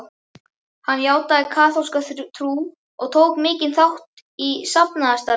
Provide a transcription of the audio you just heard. Hann játaði kaþólska trú og tók mikinn þátt í safnaðarstarfi.